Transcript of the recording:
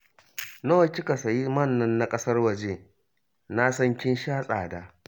Nawa kika sayi man nan na ƙasar waje? Na san kin sha tsada!